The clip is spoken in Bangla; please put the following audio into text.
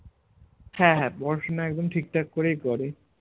হ্যাঁ হ্যাঁ পড়াশোনা একদম ঠিক ঠাক করেই করে